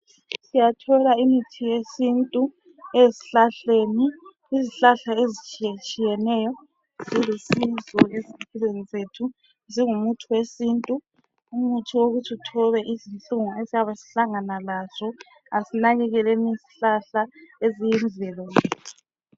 Siyathola imithi yesintu ezihlahleni izihlahla ezitshiyetshiyeneyo zilusizo ezimpilweni zethu zingumuthi wesintu umuthi wokuthi uthobe izihlungu esiyabe sihlangana lazo asinakekeleni izihlahla eziyimvelo yethu.